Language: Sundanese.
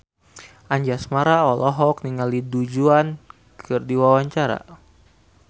Anjasmara olohok ningali Du Juan keur diwawancara